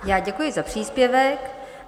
Já děkuji za příspěvek.